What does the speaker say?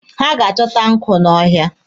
Ha ga-achọta nkụ n'ọhịa.